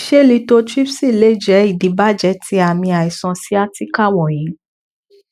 ṣe lithotripsy lè jẹ idibàjẹ ti aami aiṣan sciatica wọnyi